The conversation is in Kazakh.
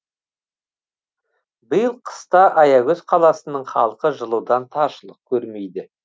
биыл қыста аягөз қаласының халқы жылудан таршылық көрмейді